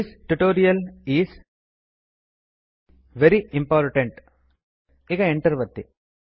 this tutorial is very important ಈಗ Enter ಒತ್ತಿ